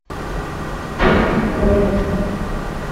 пусть говорят